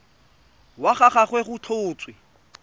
wa ga gagwe go tlhotswe